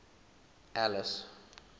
alice